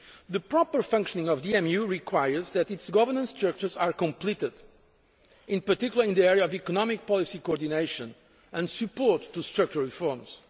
The proper functioning of the EMU requires that its governance structures are completed, in particular in the area of economic policy coordination and support to structural reforms.